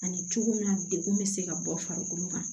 Ani cogo min na degun bɛ se ka bɔ farikolo kan